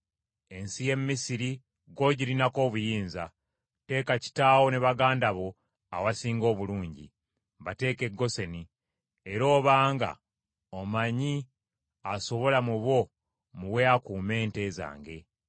Ensi y’e Misiri gw’ogirinako obuyinza, teeka kitaawo ne baganda bo awasinga obulungi; bateeke e Goseni. Era obanga omanyi asobola mu bo muwe akuume ente zange.”